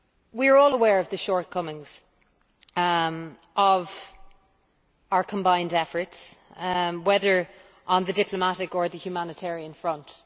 We are all aware of the shortcomings of our combined efforts, whether on the diplomatic or humanitarian front.